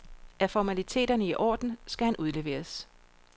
Er formaliteterne i orden, skal han udleveres.